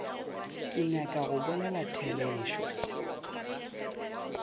ke nyaka go bolela therešo